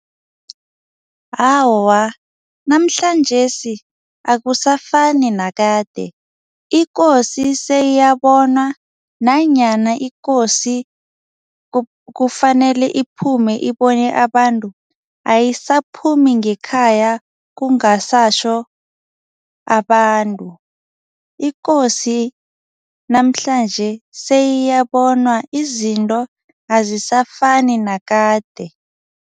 Awa, namhlanjesi akusafani nakade, ikosi seyiyabonwa nanyana ikosi kufanele iphume ibone abantu, ayisaphumi ngekhaya kungasatjho abantu ikosi namhlanje seyiyabonwa izinto azisafani nakade.